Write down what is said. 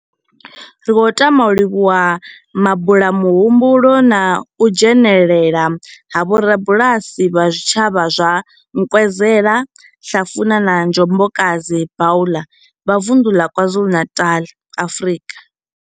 Ri khou tama u livhuwa mabulamuhumbulo na u dzhenela ha vhorabulasi vha zwitshavha zwa Nkwezela, Hlafuna na Njobokazi Bulwer vha vunḓu la KwaZulu-Natal, Afrika.